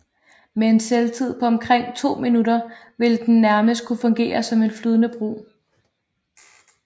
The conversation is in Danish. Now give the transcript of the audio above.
Med en selvtid på omkring to minutter ville den nærmest kunne fungere som en flydende bro